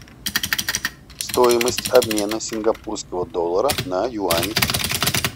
стоимость обмена сингапурского доллара на юани